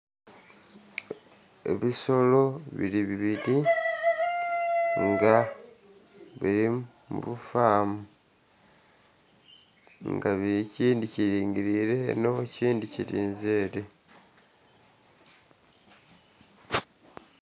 Ebisolo biri bibiri nga biri mu lufaamu. Nga ekindhi kiringilire eno ekindhi kirinze ere.